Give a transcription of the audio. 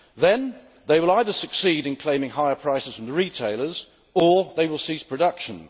Then they will either succeed in claiming higher prices from the retailers or they will cease production.